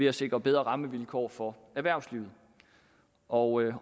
at sikre bedre rammevilkår for erhvervslivet og